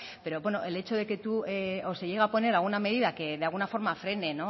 o se llega a poner alguna medida que de alguna forma frene